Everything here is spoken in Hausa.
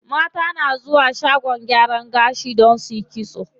Mata na zuwa shagon gyaran gashi don suyi kitso.